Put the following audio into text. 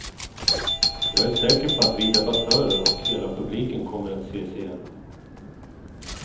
Jag är säker på att vi debattörer och hela publiken kommer att ses igen.